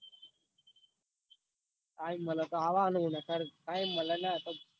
Time મળ એટલે આવું યાર બાર time મલ તો અવાનૂ નકાર